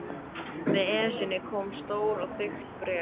Með Esjunni kom stórt og þykkt bréf.